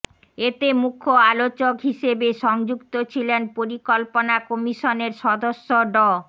এতে মুখ্য আলোচক হিসেবে সংযুক্ত ছিলেন পরিকল্পনা কমিশনের সদস্য ড